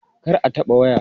Kar a taɓa waya!